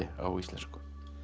á íslensku